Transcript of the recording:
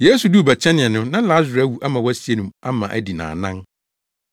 Yesu duu Betania no na Lasaro awu ama wɔasie no ma adi nnaanan.